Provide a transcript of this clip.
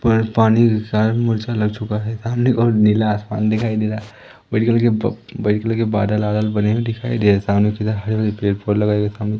पर पानी के साथ मुझे लग चुका है सामने की ओर नीला आसमान दिखाई दे रहा है बादल वादल बने हुए दिखाई दे रहे सामने की तरफ हरे भरे पेड़ पौधे लगाए हुए सामने।